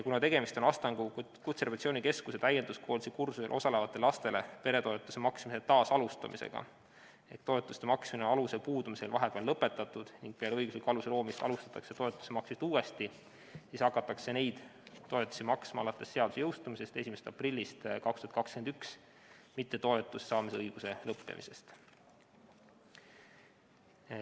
Kuna tegemist on Astangu Kutserehabilitatsiooni Keskuse täienduskoolituse kursusel osalevatele lastele peretoetuse maksmise taasalustamisega, st toetuste maksmine on aluse puudumise tõttu vahepeal lõpetatud ning peale õigusliku aluse loomist alustatakse toetuse maksmist uuesti, siis hakatakse neid toetusi maksma alates seaduse jõustumisest 1. aprillist 2021, mitte toetuse saamise õiguse lõppemisest.